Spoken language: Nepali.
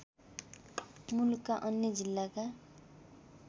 मुलुकका अन्य जिल्लाका